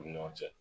U ni ɲɔgɔn cɛ